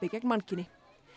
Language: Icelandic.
gegn mannkyni